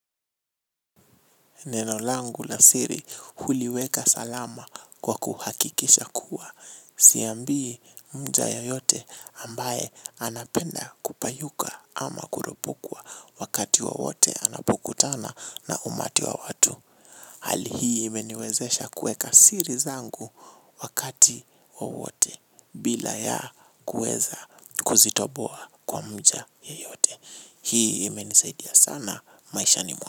Neno langu la siri huliweka salama kwa kuhakikisha kuwa siambii mja yeyote ambaye anapenda kupayuka ama kuropokwa wakati wowote anapokutana na umati wa watu. Hali hii imeniwezesha kuweka siri zangu wakati wowote bila ya kuweza kuzitoboa kwa mja yeyote. Hii imenisaidia sana maishani mwa.